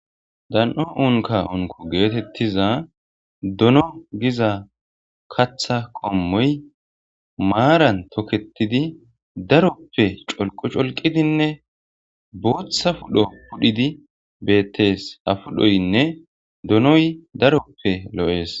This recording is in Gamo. Dan'o unka unko geetettiza dono giza katha qommoy maaran toketidi daroppe colqo colqidinne booththa pudho pudhidi beettees afudhoynne donoy daroppe lo'ees.